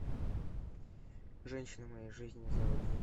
женщина моей жизни заводи